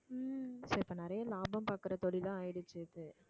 so இப்ப நிறைய லாபம் பாக்குற தொழிலா ஆயிடுச்சு இது